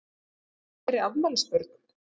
Veistu um fleiri afmælisbörn?